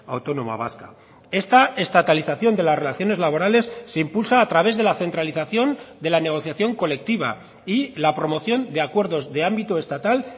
autónoma vasca esta estatalización de las relaciones laborales se impulsa a través de la centralización de la negociación colectiva y la promoción de acuerdos de ámbito estatal